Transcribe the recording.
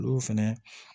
Olu fɛnɛ